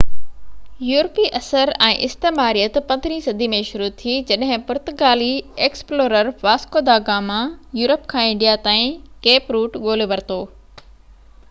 يورپي اثر ۽استعماريت 15 هين صدي ۾ شروع ٿي جڏهن پرتگالي ايڪسپلورر واسڪو دا گاما يورپ کان انڊيا تائين ڪيپ روٽ ڳولهي ورتو